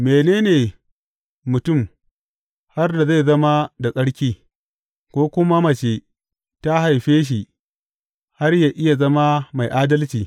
Mene ne mutum, har da zai zama da tsarki, ko kuma mace ta haife shi, har yă iya zama mai adalci?